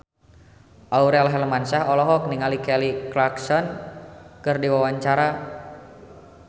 Aurel Hermansyah olohok ningali Kelly Clarkson keur diwawancara